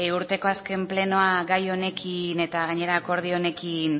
urteko azken plenoa gai honekin eta gainera akordio honekin